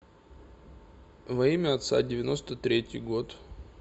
во имя отца девяносто третий год